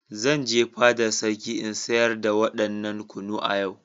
Zan je fadar sarki in sayar da wadannan kunu a yau.